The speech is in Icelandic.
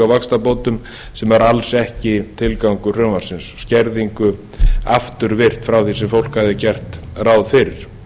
vaxtabótum sem er alls ekki tilgangur frumvarpsins skerðingu afturvirkt frá því sem fólk hafði gert ráð fyrir